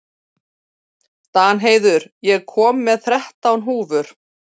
Danheiður, ég kom með þrettán húfur!